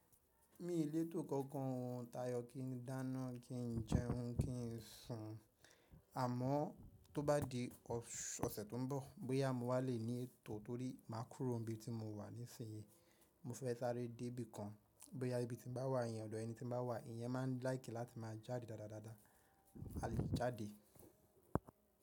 Mi ò lè tó kankan tayọ kí n dáná, kí n jẹun, kí ń sùn, àmọ́ tó bá di ọsẹ tó ń bọ, bóyá mo wá lè ní ètò torí má kúrò ibi tí mo wà nísinyi. Mo fẹ́ sáré dé ibìkan, bóyá ibi tí n bá wà, yẹn ọ̀dọ̀ ẹni tí n bá wà, ìyẹn má ń láìkì láti má jáde dáadáa dáadáa. A lè jáde.